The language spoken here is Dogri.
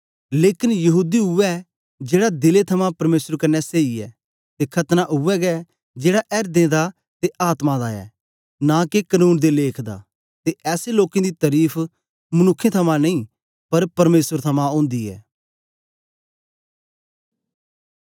लेकन यहूदी उवै ऐ जेड़ा दिले थमां परमेसर क्न्ने सेई ऐ ते खतना उवै गै जेड़ा एर्दें दा ते आत्मा दा ऐ नां के कनून दे लेख दा ते ऐसे लोकें दी तरीफ मनुक्खें थमां नेई पर परमेसर थमां ओंदी ऐ